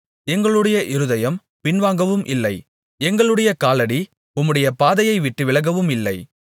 எங்களுடைய இருதயம் பின்வாங்கவும் இல்லை எங்களுடைய காலடி உம்முடைய பாதையைவிட்டு விலகவும் இல்லை